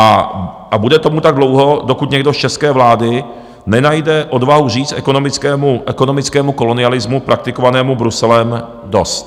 A bude tomu tak dlouho, dokud někdo z české vlády nenajde odvahu říct ekonomickému kolonialismu praktikovanému Bruselem dost.